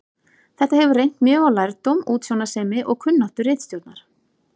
Þetta hefur reynt mjög á lærdóm, útsjónarsemi og kunnáttu ritstjórnar.